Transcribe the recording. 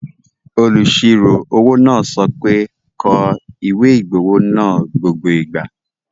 Olùsirò-owó náà sọ pé, 'kọ ìwé-ìgbowó náà gbogbo ìgbà